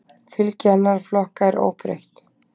Fylgi annarra flokka er óbreytt